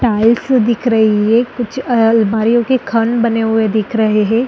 Tiles दिख रही है कुछ अलमारियों के खन बने हुए दिख रहे हैं।